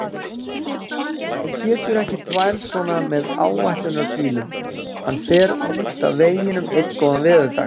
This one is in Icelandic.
Þú getur ekki þvælst svona með áætlunarbílnum, hann fer út af veginum einn góðan veðurdag.